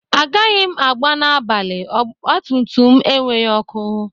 Agaghị m agba n'abalị, ọgba m tum tum enweghị ọkụ.